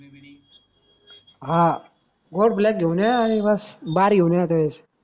हा ग्लोबक घेऊन ये आणि बस बार घेऊन ये येते वेळेस